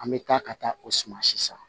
An bɛ taa ka taa o suma si san